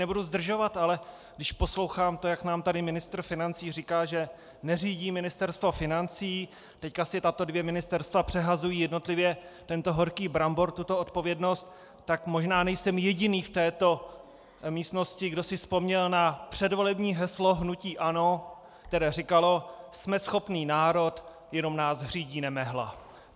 Nebudu zdržovat, ale když poslouchám to, jak nám tady ministr financí říká, že neřídí Ministerstvo financí, teď si tato dvě ministerstva přehazují jednotlivě tento horký brambor, tuto odpovědnost, tak možná nejsem jediný v této místnosti, kdo si vzpomněl na předvolební heslo hnutí ANO, které říkalo: Jsme schopný národ, jenom nás řídí nemehla.